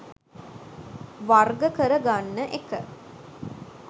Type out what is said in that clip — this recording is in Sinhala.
වර්ග කර ගන්න එක.